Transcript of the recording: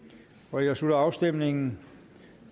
nu jeg slutter afstemningen